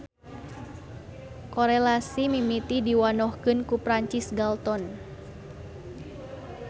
Korelasi mimiti diwanohkeun ku Francis Galton.